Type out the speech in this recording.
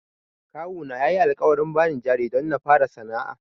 Kawuna yayi alƙawarin bani jari don na fara sana'a.